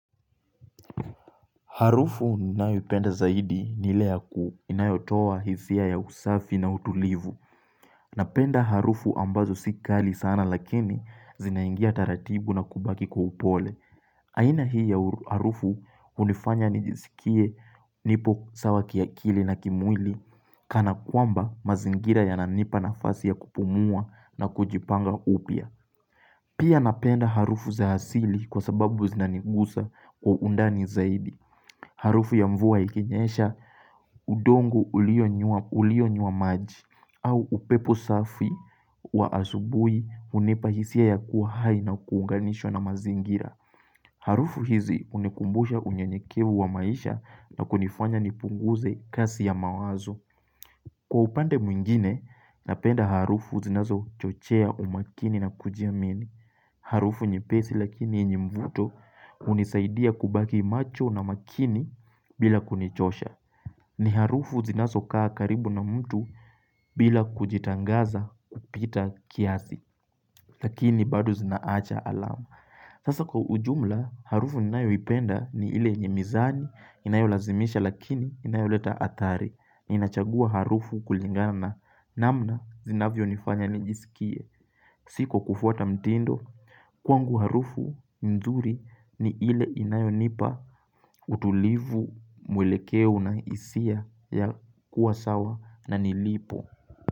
Harufu ninayoipenda zaidi ni ile ya ku inayotoa hisia ya usafi na utulivu. Napenda harufu ambazo sikali sana lakini zinaingia taratibu na kubaki kwa upole. Aina hii ya harufu unifanya nijisikie nipo sawa kiakili na kimwili kana kwamba mazingira ya nanipa na fasi ya kupumua na kujipanga upya. Pia napenda harufu za asili kwa sababu zinanigusa kwa undani zaidi. Harufu ya mvua ikinyesha udongo ulio nywa maji au upepo safi wa asubuhi unipahisia ya kuwahai na kuunganishwa na mazingira. Harufu hizi unikumbusha unyenyekevu wa maisha na kunifanya nipunguze kasi ya mawazo. Kwa upande mwingine, napenda harufu zinazo chochea umakini na kujiamini. Harufu nyepesi lakini yenyemvuto hunisaidia kubaki macho na makini bila kunichosha. Ni harufu zinazo kaa karibu na mtu bila kujitangaza kupita kiasi lakini bado zinaacha alama. Sasa kwa ujumla harufu ninayo ipenda ni ile yenye mizani inayolazimisha lakini inayoleta hatari. Ninachagua harufu kulingana na namna zinavyo nifanya nijisikie. Si kwa kufuata mtindo kwangu harufu nzuri ni ile inayonipa utulivu mwelekeo na hisia ya kuwasawa na nilipo.